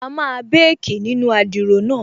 A máa békì nínu adiro náà